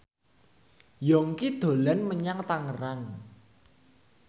Yongki dolan menyang Tangerang